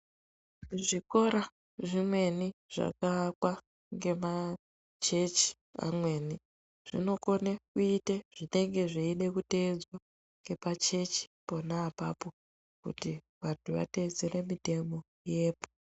Zvikora zvimweni zvakaakwa ngemachechi amweni, zvinokone kuite zvinenge zveide kuteedzwa ngepachechi pona apapo, kuti vantu vateedzere mitemo yepo.